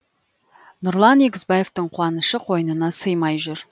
нұрлан егізбаевтың қуанышы қойнына симай жүр